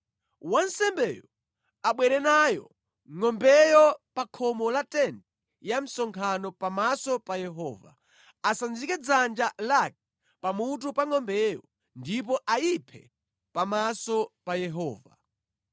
Wansembeyo abwere nayo ngʼombeyo pa khomo la tenti ya msonkhano pamaso pa Yehova. Asanjike dzanja lake pamutu pa ngʼombeyo ndipo ayiphe pamaso pa Yehova.